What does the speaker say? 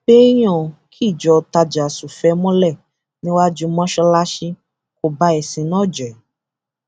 pé èèyàn kíjọ tajàsùfẹẹ mọlẹ níwájú mọṣáláṣí kò ba ẹsìn náà jẹ